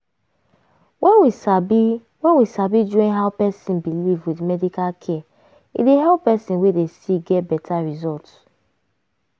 wen we sabi wen we sabi join how person believe with medical care e dey help person wey dey sick get beta result.